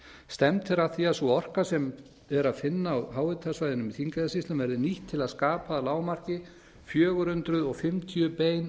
stefnt er að því að sú orka sem er að finna á háhitasvæðunum í þingeyjarsýslum verði nýtt til að skapa að lágmarki fjögur hundruð fimmtíu bein